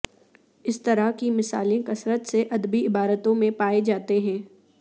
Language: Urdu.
اس طرح کی مثالیں کثرت سے ادبی عبارتوں میں پائے جاتے ہیں